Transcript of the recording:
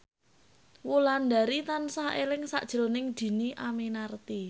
Wulandari tansah eling sakjroning Dhini Aminarti